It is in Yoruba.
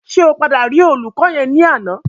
Ṣé o padà rí olùkọ́ yẹn ní àná?